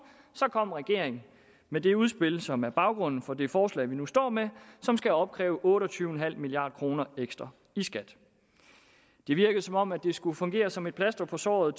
så kom regeringen med det udspil som er baggrunden for det forslag vi nu står med som skal opkræve otte og tyve milliard kroner ekstra i skat det virkede som om det skulle fungere som et plaster på såret